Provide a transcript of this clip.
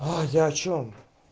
а я о чем